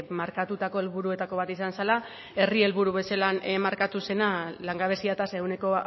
markatutako helburuetako bat izan zela herri helburu bezala markatu zena langabezia tasa ehuneko